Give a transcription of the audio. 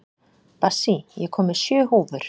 Bassí, ég kom með sjö húfur!